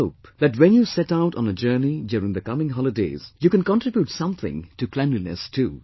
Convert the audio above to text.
I hope that when you set out on a journey during the coming holidays you can contribute something to cleanliness too